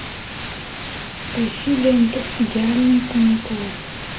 поищи ленту идеальные каникулы